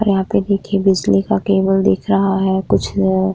और यहा पे देखिए बिजली का केबल दिख रहा है कुछ --